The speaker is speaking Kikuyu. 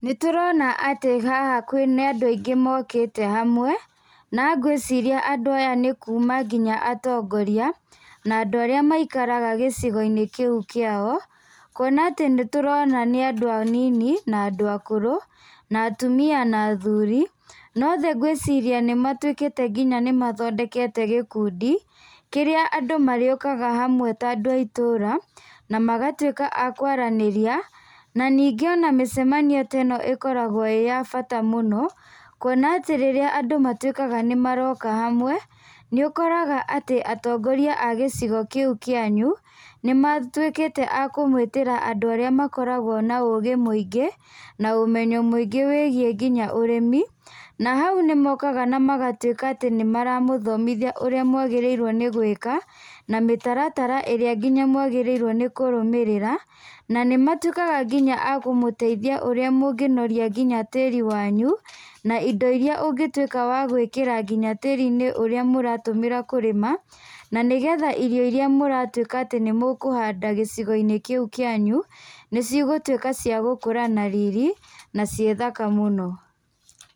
Nĩtũrona haha atĩ nĩ andũ aingĩ mokĩte hamwe. Na ngwĩciria andũ aya nĩ kuuma nginya atongoria na andũ arĩa maikaraga gĩcigo-inĩ kĩu kĩao, kuona atĩ nĩ tũrona nĩ andũ anini na andũ akũrũ na atumia na athuri na othe ngwĩciria nĩ matuĩkĩte nginya nĩ mathondekete gĩkundi kĩrĩa andũ marĩũkaga hamwe ta andũ a itũra na magatuĩka a kwaranĩria na nyingĩ ona mĩcemanio teno ĩkoragwo ĩĩ ya bata mũno kuona atĩ rĩrĩa andũ matuĩka nĩ maroka hamwe nĩ ũkoraga atĩ atongoria a gĩcigo kĩu kĩanyu nĩ matuĩkĩte akũmetĩra andũ arĩa makoragwo na ũgĩ mũingĩ na ũmenyo mũingĩ wĩigiĩ nginya ũrĩmi. Nahau nĩ mokaga na magatuĩka natĩ nĩ maramathomithia ũrĩa mwagĩrĩirwo nĩ gwĩka na mĩtaratara ĩrĩa nginya mwagĩrĩirwo nĩ kũrũmĩrĩra na nĩ matuĩkaga nginya akũmũteithia ũrĩa mũngĩnoria nginya tĩri wanyu, na indo iria ũngĩtuĩka wa gũĩkĩra nginya tĩri-inĩ ũrĩa mũratũmĩra kũrĩma na nĩgetha irio iria mũratuĩka nĩ mũkũhanda gĩcigo-inĩ kĩu kĩanyu nĩ cigũtuĩka ciagũkũra na riri na ciĩthaka mũno.